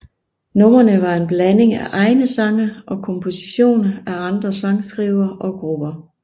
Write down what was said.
Numrene var en blanding af egne sange og kompositioner af andre sangskrivere og grupper